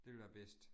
Det ville være bedst